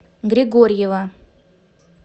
григорьева